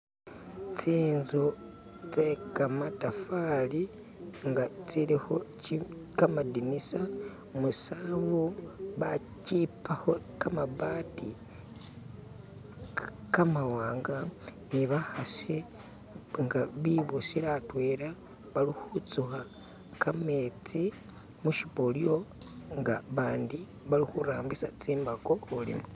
Ts'inzu tse kamatafali nga tsilikho kamadinisa musanvu, bakipakho kamabati kamawanga ni bakhasi nga bibusile atwela bali kutsukha kametsi mushipolyo nga bandi bali khurambisa tsimbako khulima.